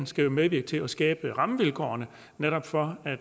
skal medvirke til at skabe rammevilkårene netop for at